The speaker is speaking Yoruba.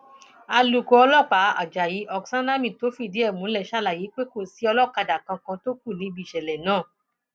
alūkó ọlọpàá ajayi oksanami tó fìdí ẹ múlẹ ṣàlàyé pé kò sí olókàdá kankan tó kù níbi ìṣẹlẹ náà